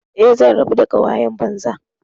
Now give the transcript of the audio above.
Eh, zan rabu da ƙawayen banza.